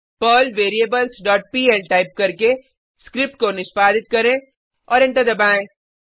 Perl variables dot PL type करके script को निष्पादित करें औऱ एंटर दबाएँ